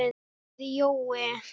sagði Jói.